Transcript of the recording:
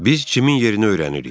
Biz Cimin yerini öyrənirik.